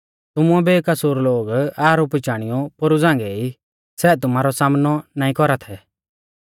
तुमुऐ बेकसूर लोग आरोपी चाणीऔ पोरु झ़ांगै ई सै तुमारौ सामनौ नाईं कौरा थै